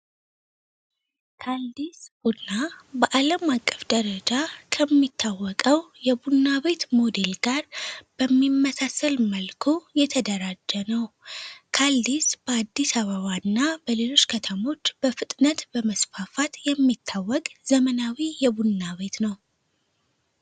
ታልዲስ ቡና በአለምአቀፍ አቀፍ ደረጃ ከሚታወቀው የቡና ቤት ሞዴል ጋር በሚመሳሰል መልኩ የተደራጀ ነዉ ካልዲስ በ አዲስ አበባ እና በሌሎች ከተሞች በፍጥነት ቀመስፋፋት የሚታወቅ ዘመናዊ የቡና ቤት ነዉ።